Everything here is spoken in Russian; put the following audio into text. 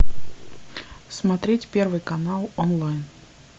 смотреть первый канал онлайн